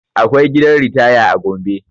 Akwai gidan ritaya a gombe